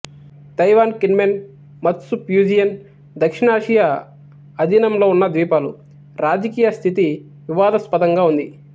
Taiwan Kinmen Matsu Fujian దక్షిణాసియా అధీనంలో ఉన్న ద్వీపాలు రాజకీయ స్థితి వివాదాస్పదంగా ఉంది